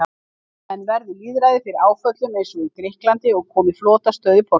En verði lýðræðið fyrir áföllum eins og í Grikklandi og komi flotastöð í Portúgal?